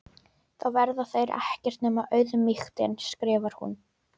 Þá verða þeir ekkert nema auðmýktin, skrifar hún.